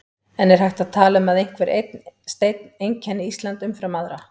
En er hægt að tala um að einhver einn steinn einkenni Ísland umfram aðra?